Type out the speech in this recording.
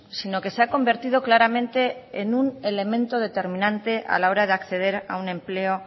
sino que se ha convertido claramente en un elemento determinante a la hora de acceder a un empleo